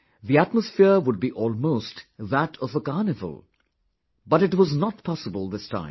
The atmosphere would be almost that of a carnival...but it was not possible this time